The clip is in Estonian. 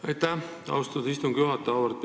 Aitäh, austatud istungi juhataja!